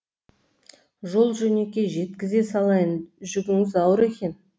жол жөнекей жеткізе салайын жүгіңіз ауыр екен